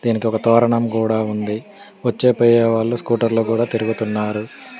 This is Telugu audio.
దీనికి ఒక తోరణం కూడా ఉంది వచ్చే పోయే వాళ్ళు స్కూటర్లో కూడా తిరుగుతున్నారు.